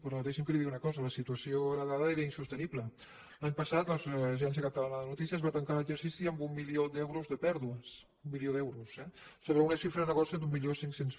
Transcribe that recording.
però deixi’m que li digui una cosa la situació heretada era insostenible l’any passat l’agència catalana de notícies va tancar l’exercici amb un milió d’euros de pèrdues un milió d’euros eh sobre una xifra de negoci d’mil cinc cents